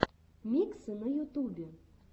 миксы на ютубе